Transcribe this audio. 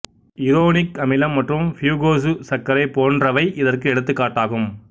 uronic அமிலம் மற்றும் fucose சர்க்கரை போன்றவை இதற்கு எடுத்துக் காட்டாகும்